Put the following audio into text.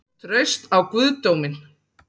Traust á guðdóminn?